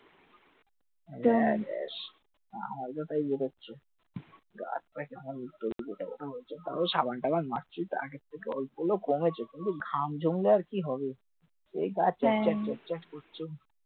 সেই গা হ্যাঁ চ্যাট চ্যাট চ্যাট চ্যাট করছে